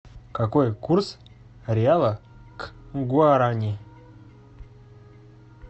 какой курс реала к гуарани